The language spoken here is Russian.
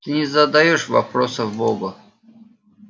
ты не задаёшь вопросов богу